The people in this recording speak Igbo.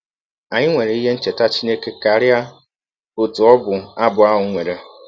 Anyị nwere ihe ncheta Chineke karịa ọtụ ọbụ abụ ahụ nwere.